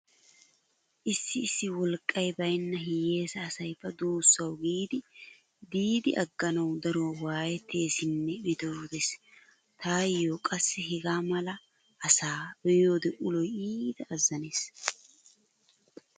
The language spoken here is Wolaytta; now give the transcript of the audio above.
Issi issi wolqqay baynna hiyyeesa asay ba duusaawu giidi diidi agganawu daruwa waayetteesinne metootees. Taayyo qassi hegaa mala asa be'iyode uloy iita azzanees.